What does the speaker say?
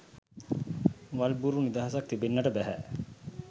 වල් බූරු නිදහසක් තිබෙන්නට බැහැ